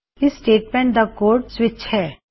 ਇਸ ਸਟੇਟਮੈਂਟ ਦਾ code switch ਹੈ